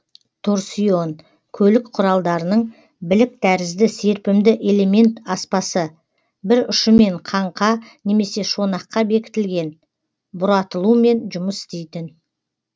торсион көлік құралдарының білік тәрізді серпімді элемент аспасы бір ұшымен қаңқа немесе шонақка бекітілген бұратылумен жұмыс істейтін